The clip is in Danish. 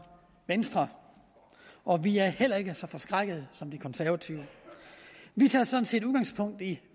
venstre og vi er heller ikke så forskrækkede som de konservative vi tager sådan set udgangspunkt i